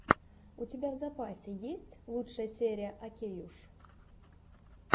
у тебя в запасе есть лучшая серия окейуш